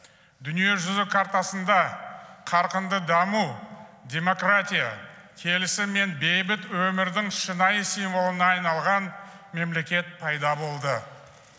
дүние жүзі картасында қарқынды даму демократия келісім мен бейбіт өмірдің шынайы символына айналған мемлекет пайда болды